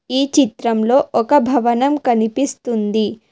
ఈ చిత్రంలో ఒక భవనం కనిపిస్తుంది.